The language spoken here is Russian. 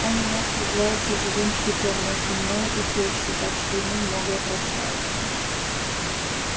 он у нас является живым щитом между мною и тёщей так что ему многое прощается